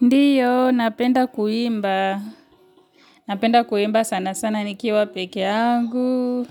Ndio, napenda kuimba, napenda kuimba sana sana nikiwa pekee yangu,